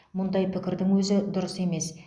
мұндай пікірдің өзі дұрыс емес